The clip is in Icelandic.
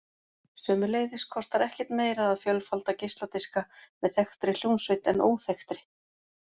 Sömuleiðis kostar ekkert meira að fjölfalda geisladiska með þekktri hljómsveit en óþekktri.